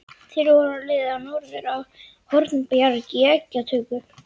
Þeir voru á leið norður á Hornbjarg í eggjatöku.